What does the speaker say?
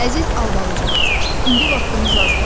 Əziz Albalıcığaz, indi vaxtımız azdır.